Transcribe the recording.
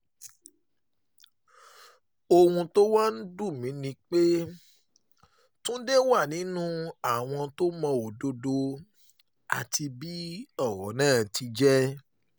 ohun tó wá ń dùn mí ni pé túnde wà nínú àwọn tó mọ òdodo àti bí ọ̀rọ̀ ti jẹ́